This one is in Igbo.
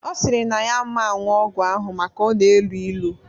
Ọ sịrị na ya aman ṅṅụ ọgwụ ahụ maka na ọ na-elu ilu